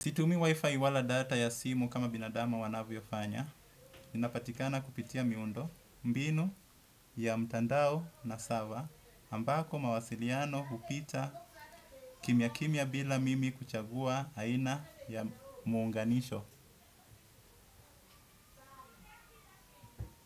Situmii wi-fi wala data ya simu kama binadamu wanavyofanya. Inapatikana kupitia miundo mbinu ya mtandao na server. Ambako mawasiliano hupita kimya kimya bila mimi kuchagua aina ya muunganisho.